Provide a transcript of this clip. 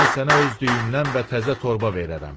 Mən sənə öz düyümdən və təzə torba verərəm.